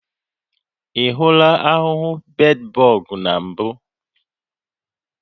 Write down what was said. Ị hụla ahụhụ bedbọg na mbụ?